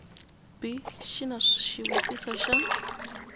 b xi na xivutiso xa